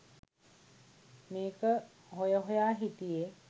මේක හොය හොය හිටියෙ.